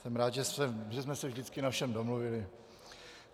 Jsem rád, že jsme se vždycky na všem domluvili.